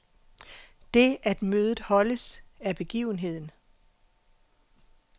Det, at mødet holdes, er begivenheden.